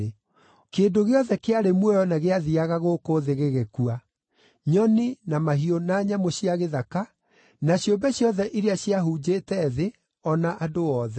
Kĩndũ gĩothe kĩarĩ muoyo na gĩathiiaga gũkũ thĩ gĩgĩkua, nyoni, na mahiũ na nyamũ cia gĩthaka, na ciũmbe ciothe iria ciahunjĩte thĩ, o na andũ othe.